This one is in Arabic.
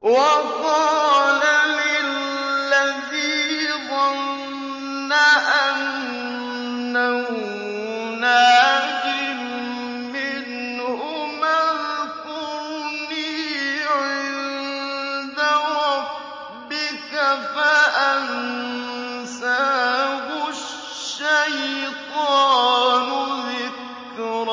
وَقَالَ لِلَّذِي ظَنَّ أَنَّهُ نَاجٍ مِّنْهُمَا اذْكُرْنِي عِندَ رَبِّكَ فَأَنسَاهُ الشَّيْطَانُ ذِكْرَ